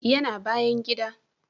Ya na bayan gida